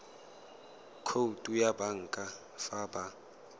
khoutu ya banka fa ba